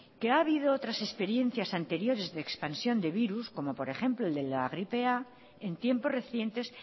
que ha habido otras experiencias anteriores de expansión de virus como por ejemplo el de la gripe a en tiempos recientes